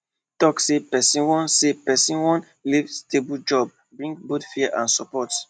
talk say person wan say person wan leave stable job bring both fear and support